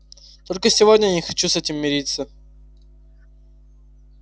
только сегодня я не хочу с этим мириться